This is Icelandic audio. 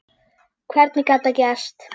Hvernig gat það gerst?